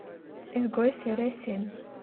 изгой серия семь